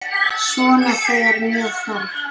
Svona þegar með þarf.